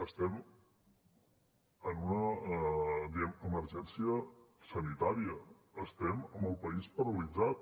estem en una diguem ne emergència sanitària estem amb el país paralitzat